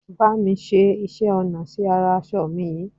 Bá mi ṣe iṣẹ́ ọnà sí ara aṣọ mi yìí